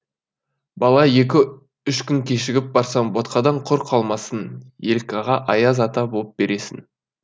бала екі үш күн кешігіп барсаң ботқадан құр қалмассың елкаға аяз ата боп бересің